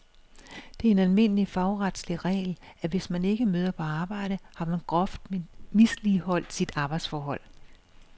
Det er en almindelig fagretslig regel, at hvis man ikke møder på arbejde, har man groft misligeholdt sit arbejdsforhold.